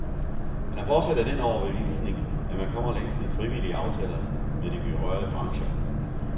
Han er fortsat af den overbevisning, at man kommer længst med frivillige aftaler med de berørte brancher.